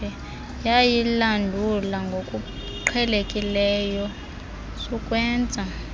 yayilandula ngokuqhelekileyo sukwenza